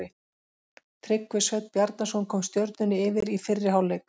Tryggvi Sveinn Bjarnason kom Stjörnunni yfir í fyrri hálfleik.